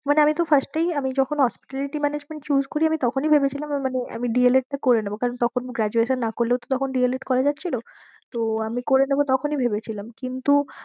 মানে আমি তো first এই আমি যখন hospitality management choose করি আমি তখনি ভেবেছিলাম মানে আমি D. el. ed টা করে নেবো কারণ তখন graduation না করলেও তো তখন D. el. ed. করা যাচ্ছিলো তো আমি করে নেবো তখনি ভেবেছিলাম কিন্তু